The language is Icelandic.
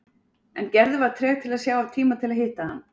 En Gerður var treg til að sjá af tíma til að hitta hann.